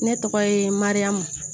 Ne tɔgɔ ye mariyamu